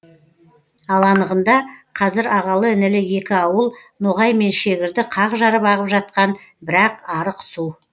ал анығында қазір ағалы інілі екі ауыл ноғай мен шегірді қақ жарып ағып жатқан бір ақ арық су